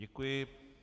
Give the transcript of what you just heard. Děkuji.